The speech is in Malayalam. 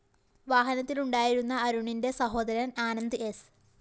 വാഹനത്തിലുണ്ടായിരുന്ന അരുണിന്റെ സഹോദരന്‍ ആനന്ദ് സ്‌